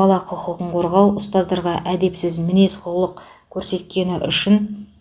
бала құқығын қорғау ұстаздарға әдепсіз мінез құлық көрсеткені үшін